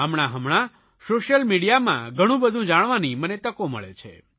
હમણાંહમણાં social મીડીયામાં ઘણુંબધું જાણવાની મને તકો મળે છે